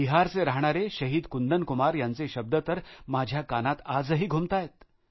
बिहारला राहणारे शहीद कुंदन कुमार यांचे शब्द तर माझ्या कानात आजही घुमताहेत